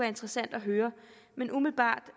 interessant at høre men umiddelbart